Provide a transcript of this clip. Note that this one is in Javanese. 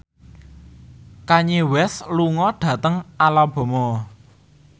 Kanye West lunga dhateng Alabama